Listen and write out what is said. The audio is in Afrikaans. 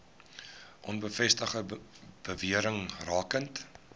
onbevestigde bewerings rakende